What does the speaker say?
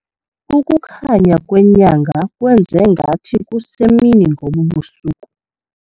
Ukukhanya kwenyanga kwenze ngathi kusemini ngobu busuku.